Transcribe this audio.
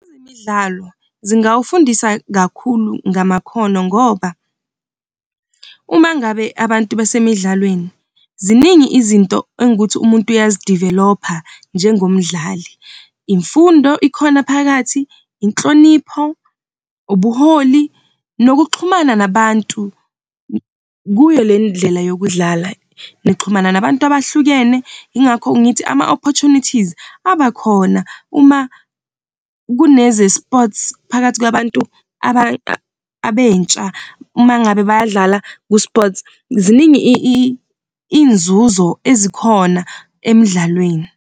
Ezemidlalo zingawafundisa kakhulu ngamakhono, ngoba uma ngabe abantu besemidlalweni, ziningi izinto engukuthi umuntu uyazi-develop-a njengomdlali. Imfundo ikhona phakathi, inhlonipho, ubuholi, nokuxhumana nabantu kuyo le ndlela yokudlala, nixhumana nabantu abahlukene. Yingakho ngithi ama-opportunities abakhona uma kuneze-sports phakathi kwabantu abentsha uma ngabe bayadlala ku-sports. Ziningi iy'nzuzo ezikhona emdlalweni.